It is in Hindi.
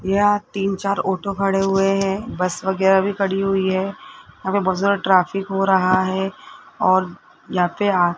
यहाँ तीन चार आटो खड़े हुए है बस वगैरा भी खड़ी हुई है हमें बहोत ज्यादा ट्राफिक हो रहा है और यहां पे --